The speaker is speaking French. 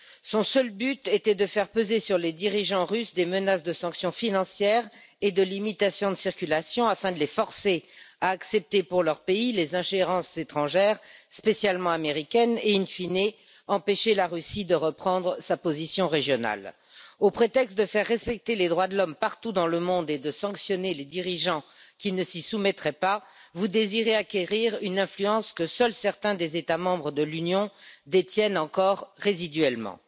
Son seul but était de faire peser sur les dirigeants russes des menaces de sanctions financières et de limitation de circulation, afin de les forcer à accepter pour leur pays les ingérences étrangères, en particulier américaines, et, in fine, empêcher la Russie de reprendre sa position régionale. Sous prétexte de faire respecter les droits de l'homme partout dans le monde et de sanctionner les dirigeants qui ne s'y soumettraient pas, vous désirez acquérir une influence que seuls certains États membres de l'Union détiennent encore résiduellement.